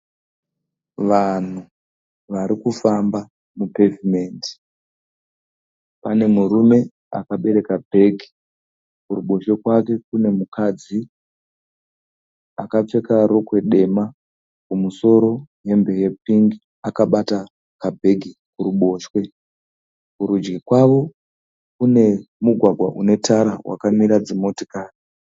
Vanhu vari kufamba mupevhimendi. Pane murume akabereka bhegi. Kuruboshwe kwake kune mukadzi akapfeka rokwe dema kumusoro hembe yepingi akabata kabhegi kuruboshwe. Kurudyi kwavo kune mugwagwa une tara wakamira dzimotokari.